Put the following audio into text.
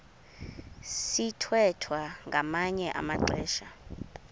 sithwethwa ngamanye amaxesha